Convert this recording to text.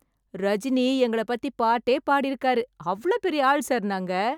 ரஜினி எங்கள பத்தி பாட்டே பாடிருக்கார், அவ்ளோ பெரிய ஆள் சார் நாங்க.